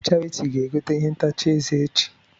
Charity ga egote ihe ntacha eze echi.